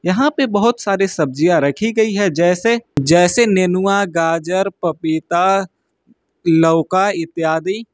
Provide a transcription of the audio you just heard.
यहां पे बहोत सारे सब्जियां रखी गई है जैसे जैसे नैनुवा गाजर पपीता लवका इत्यादि--